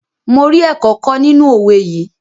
Mo rí ẹ̀kọ́ kọ́ nínú owé yìí.